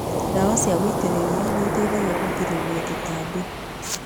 Ndawa cia gũitĩrĩria nĩiteithagia kũgirĩrĩria tũtambi.